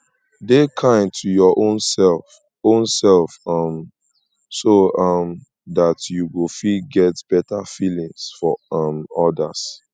dey kind to your own self own self um so um dat you go feet get better feelings for um odas